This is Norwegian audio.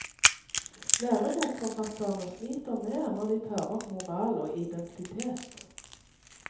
Lærebokforfatterne sliter mer når de tar opp moral og identitet.